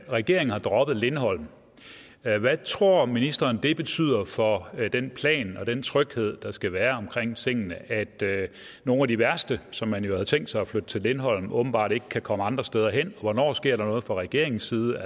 regeringen har droppet lindholm hvad tror ministeren det betyder for den plan og den tryghed der skal være omkring tingene at nogle af de værste som man jo havde tænkt sig at flytte til lindholm åbenbart ikke kan komme andre steder hen hvornår sker der noget fra regeringens side